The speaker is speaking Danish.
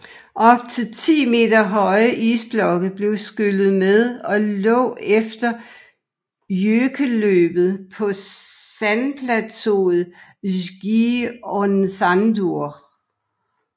Op til 10 meter høje isblokke blev skyllet med og lå efter jøkelløbet på sandplateuet Skeiðarársandur